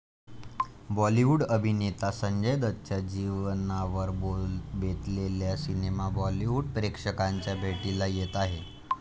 बॉलिवूड अभिनेता संजय दत्तच्या जीवनावर बेतलेला सिनेमा बॉलिवूड प्रेक्षकांच्या भेटीला येत आहे.